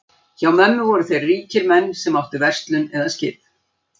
Hjá mömmu voru þeir menn ríkir sem áttu verslun eða skip.